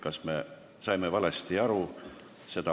Kas me saime valesti aru?